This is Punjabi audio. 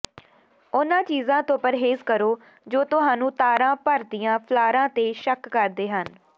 ਉਨ੍ਹਾਂ ਚੀਜ਼ਾਂ ਤੋਂ ਪ੍ਰਹੇਜ਼ ਕਰੋ ਜੋ ਤੁਹਾਨੂੰ ਤਾਰਾਂ ਭਰਦੀਆਂ ਫਲਾਰਾਂ ਤੇ ਸ਼ੱਕ ਕਰਦੇ ਹਨ